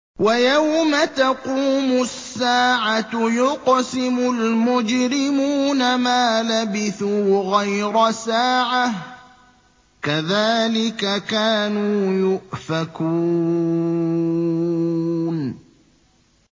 وَيَوْمَ تَقُومُ السَّاعَةُ يُقْسِمُ الْمُجْرِمُونَ مَا لَبِثُوا غَيْرَ سَاعَةٍ ۚ كَذَٰلِكَ كَانُوا يُؤْفَكُونَ